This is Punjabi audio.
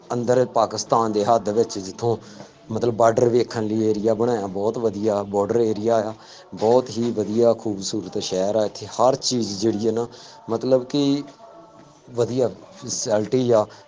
ਅੰਦਰ ਪਾਕਿਸਤਾਨ ਦੀ ਹੱਦ ਵਿੱਚ ਜਿੱਥੋਂ ਮਤਲਬ border area ਵੇਖਣ ਲਈ area ਬਣਾਇਆ, ਬਹੁਤ ਵਧੀਆ ਅ border area ਆ, ਬਹੁਤ ਹੀ ਵਧੀਆ ਖੂਬਸੂਰਤ ਸ਼ਹਿਰ ਆ ਇੱਥੇ ਹਰ ਚੀਜ਼ ਜਿਹੜੀ ਆ ਨਾ ਮਤਲਬ ਕਿ ਵਧੀਆ society ਆ